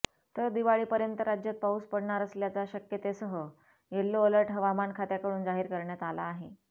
तर दिवाळीपर्यंत राज्यात पाऊस पडणार असल्याच्या शक्यतेसह यल्लो अलर्ट हवामान खात्याकडून जाहीर करण्यात आला आहे